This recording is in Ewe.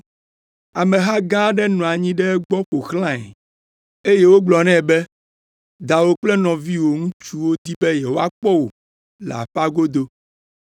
Ameha gã aɖe nɔ anyi ɖe egbɔ ƒo xlãe, eye wogblɔ nɛ be, “Dawò kple nɔviwò ŋutsuwo di be yewoakpɔ wò le aƒea godo.”